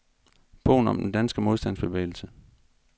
Bogen om den danske modstandsbevægelse.